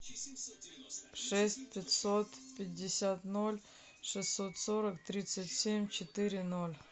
шесть пятьсот пятьдесят ноль шестьсот сорок тридцать семь четыре ноль